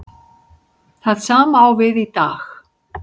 Það sama á við í dag.